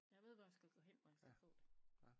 Jeg ved hvor jeg skal gå hen hvor jeg skal få det